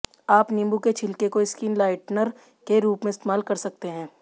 आप नींबू के छिलके को स्किन लाइटनर के रूप में इस्तेमाल कर सकते हैं